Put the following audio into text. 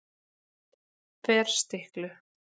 Ferstiklu